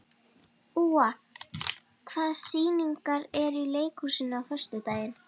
Úa, hvaða sýningar eru í leikhúsinu á föstudaginn?